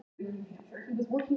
Verð betri kennari fyrir vikið